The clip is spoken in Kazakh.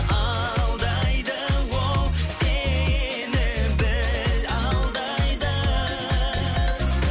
алдайды ол сені біл алдайды